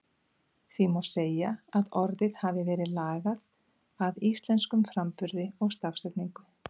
Því má segja að orðið hafi verið lagað að íslenskum framburði og stafsetningu.